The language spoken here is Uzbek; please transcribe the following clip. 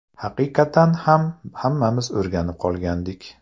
Haqiqatan ham, hammamiz o‘rganib qolgandik.